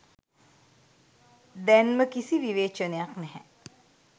දැන්ම කිසි විවේචනයක් නැහැ.